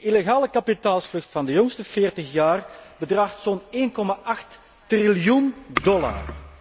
Die illegale kapitaalvlucht van de jongste veertig jaar bedraagt zo'n 1,8 triljoen dollar!